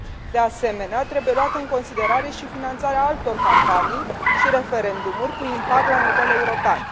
De asemenea, trebuie luată în considerare și finanțarea altor campanii și referendumuri cu impact la nivel european.